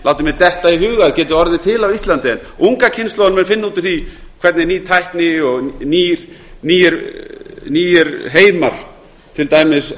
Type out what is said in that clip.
mér detta í hug að geti orðið til á íslandi en unga kynslóðin mun finna út úr því hvernig ný tækni og nýir heimar til dæmis